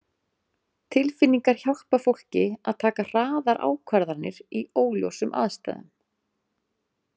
Tilfinningar hjálpa fólki að taka hraðar ákvarðanir í óljósum aðstæðum.